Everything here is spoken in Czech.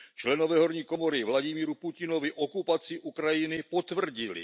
Členové horní komory Vladimíru Putinovi okupaci Ukrajiny potvrdili.